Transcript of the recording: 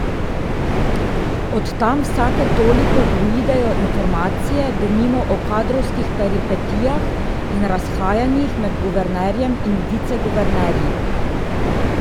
Od tam vsake toliko uidejo informacije denimo o kadrovskih peripetijah in razhajanjih med guvernerjem in viceguvernerji.